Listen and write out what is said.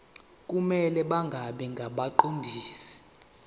kumele bangabi ngabaqondisi